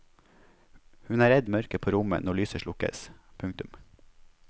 Hun er redd mørket på rommet når lyset slukkes. punktum